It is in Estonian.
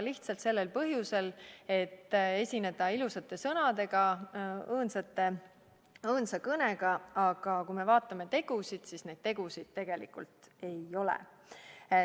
Lihtsalt sellel põhjusel, et esineda ilusate sõnadega, õõnsa kõnega, aga kui me vaatame tegusid, siis neid tegusid tegelikult ei ole.